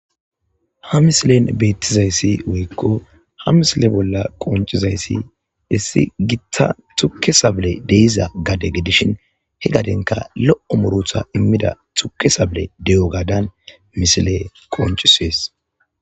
ha misilen beettizayssi woykko ha misile bolla qonchizayssi issi gitta tukke sable deiza gade gedishin he gadenka lo7o murutha immida tuke sable de7o gaadan misile qonchisees